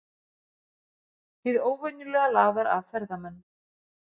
Hið óvenjulega laðar að ferðamenn